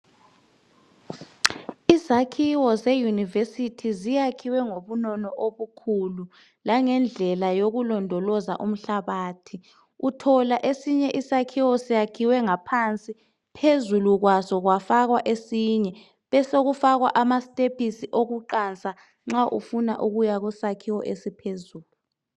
Izakhiwo ze yunivesithi zakhiwe ngobunono obukhulu langendlela yokulondoloza umhlabathi uthola esinye isakhiwo sakhiwe ngaphansi phezukwaso kwafakwa esinye besokufakwa amasitephisinokuqansa nxa ufuna ukuya kusakhiwo eliphezulu.